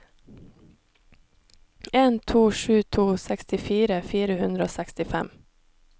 en to sju to sekstifire fire hundre og sekstifem